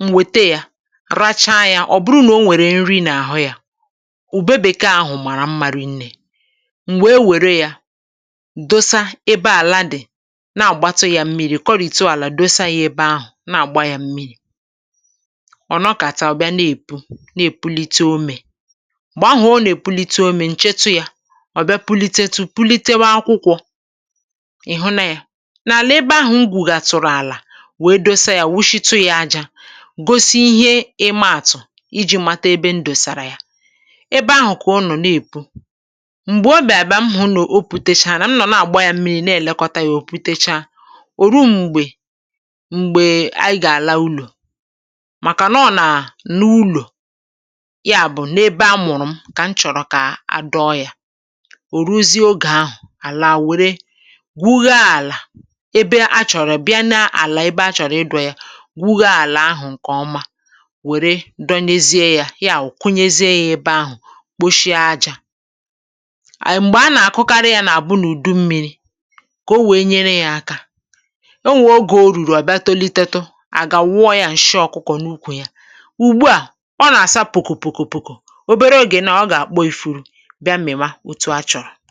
m wète yȧ, racha yȧ. Ọ̀ bụrụ nà o nwèrè nri n’àhụ yȧ, ùbebèke ahụ̀ màrà m̀marị, nnė, m̀gbè e wère yȧ dosa ebe àla dị̀ na-àgbata yȧ mmịrị̇, kọrị̀tiȯ àlà, dosa yȧ ebe ahụ̀ na-àgba yȧ mmịrị̇. Ọ̀ nọkàtawa bịa na-èpù, na-èpulite omè gbà ahụ̀; o na-èpulite omè, ọ̀ bịa pulitetu, pulitewa akwụkwọ. Ị̀ hụ̀na ya n’àlà ebe ahụ̀, ngwùgà tụrụ̀ àlà wèe dosa ya, wuchitu ya ajȧ, gosi ihe imaàtụ̀ iji̇ matọ ebe ndòsàrà ya. Ebe ahụ̀ kà ọnụ̀ na-èpu. um M̀gbè obì àbịa mhụ nà o pùtecha, nà m nọ̀ na-àgba ya mmiri, na-èlekọta ya; ò pùtecha, ò ruo m̀gbè m̀gbè a gà àla ụlọ̀.Màkà nà ọ nàà nà ụlọ̀, ya bụ̀ n’ebe amụ̀rụ̀ m. Òruzi ogè ahụ̀ àlaa wère gwugọ-àlà, ebe achọ̀rọ̀ bịa na-àlà, ebe achọ̀rọ̀ ịdụ̇ ya, gwugọ-àlà ahụ̀ ǹkè ọma, wère dọlezie ya, ya à kwunyezie ya ebe ahụ̀, kposhie ajȧ. M̀gbè a nà-àkụkarị ya, nà-àbụ n’ùdu mmi̇ri̇ kà o wee nyere ya akȧ, o nwèe ogè o rùrù. À bịa tolitetu, à gà-àwụwụọ ya ǹshị ọ̀kụkọ n’ukwù ya. Ùgbu à, ọ nà-àsa pùkùpùkùpùkùpùkù; obere ogè nà ọ gà-àkpọ ifuru, ihe ọ̀tụ̀ọ a chọ̀rọ̀.